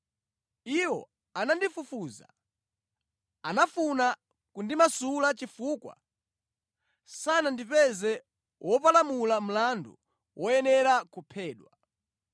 Iwo anandifufuza ndipo anafuna kundimasula chifukwa sanandipeze wopalamula mlandu woyenera kuphedwa.